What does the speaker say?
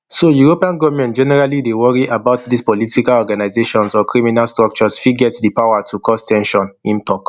so european goment generally dey worry about dis political organisations or criminal structures fit get di power to cause ten sion im tok